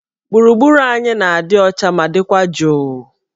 Gburugburu anyị na-adị ọcha ma dịkwa jụụ.